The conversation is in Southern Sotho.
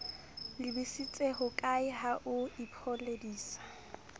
lebisitse hokae ha o ipoledisa